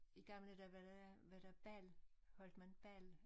I gamle dage var der var der bal holdt man bal